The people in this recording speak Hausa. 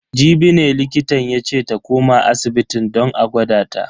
Jibi ne likitan yace ta koma asibitin don a gwada ta.